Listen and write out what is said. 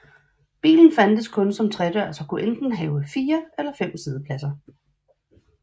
Bilen fandtes kun som tredørs og kunne enten have fire eller fem siddepladser